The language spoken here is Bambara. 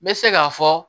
N bɛ se k'a fɔ